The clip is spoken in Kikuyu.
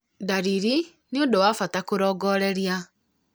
ndariri nĩ ũndũ wa bata kũrongoreria